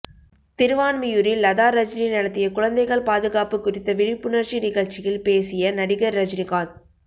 திருவான்மியூரில் லதா ரஜினி நடத்திய குழந்தைகள் பாதுகாப்பு குறித்த விழிப்புணர்ச்சி நிகழ்ச்சியில் பேசிய நடிகர் ரஜினி காந்த்